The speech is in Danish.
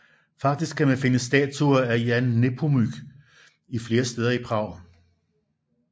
Faktisk kan man finde statuer af Jan Nepomuk flere steder i Prag